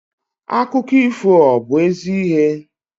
Akụkọ ifo ọ bu ezi ihe?